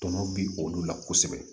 Tɔnɔ bi olu la kosɛbɛ